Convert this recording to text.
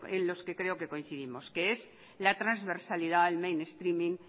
en los que creo que coincidimos que es la transversalidad el mainstreaming